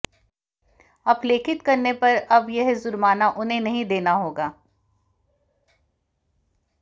अपलेखित करने पर अब यह जुर्माना उन्हें नहीं देना होगा